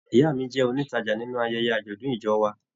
Ìyá mí jẹ onitaja nínú ayẹyẹ ajọdun ìjọ wà.